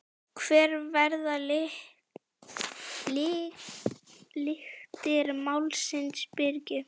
Hver verða lyktir málsins Birgir?